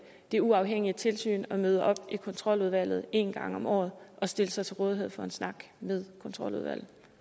det uafhængige tilsyn at møde op i kontroludvalget en gang om året og stille sig til rådighed for en snak med kontroludvalget